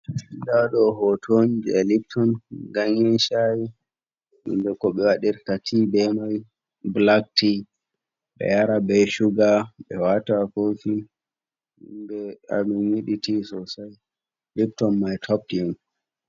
Nda ɗo hoto on je lipton ganyen shayi, hunde je ko ɓe waɗirta tea be mai blac tea, ɓe yara ɓe shuga ɓe wata ha kofi himɓɓe amin yiɗi tea sosei, lipton mai top tea on.